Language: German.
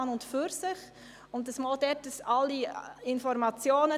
Ich möchte noch kurz eine Erklärung abgeben.